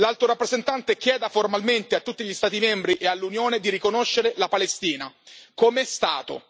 L'Alto rappresentante chieda formalmente a tutti gli Stati membri e all'Unione di riconoscere la Palestina come Stato.